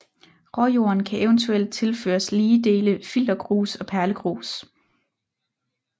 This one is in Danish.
Råjorden kan eventuelt tilføres lige dele filtergrus og perlegrus